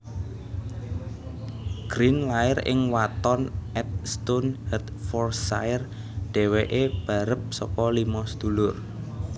Grint lair ing Watton at Stone Hertfordshire dhéwéké barep saka limo sedulur